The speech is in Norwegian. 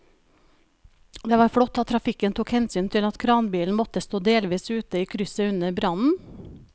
Det var flott at trafikken tok hensyn til at kranbilen måtte stå delvis ute i krysset under brannen.